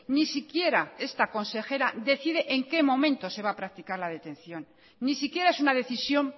ni siquiera esta consejera decide en qué momento se va a practicar la detención ni si quiera es una decisión